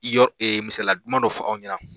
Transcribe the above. I y'o e misali duman dɔ fɔ aw ɲɛna